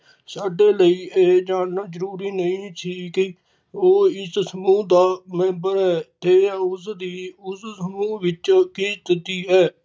ਸਾਡੇ ਲਈ ਇਹ ਜਾਨਣਾ ਜਰੂਰੀ ਨਹੀਂ ਸੀ ਕਿ ਉਹ ਇਸ ਸਮੂਹ ਦਾ member ਹੈ ਤੇ ਉਸ ਦੀ ਉਸ ਸਮੂਹ ਵਿਚ ਕਿ ਚੁੱਜੀ ਹੈ